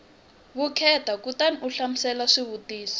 vukheta kutani u hlamula swivutiso